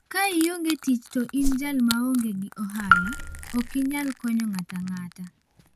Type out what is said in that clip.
"Ka ionge tich to in jal ma onge gi ohala, ok inyal konyo ng'ato ang'ata.